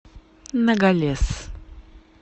ногалес